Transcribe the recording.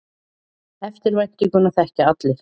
Eftirvæntinguna þekkja allir.